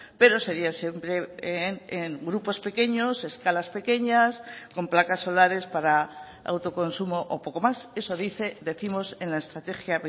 pero sería siempre en grupos pequeños escalas pequeñas con placas solares para autoconsumo o poco más eso dice décimos en la estrategia